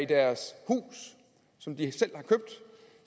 deres hus som de selv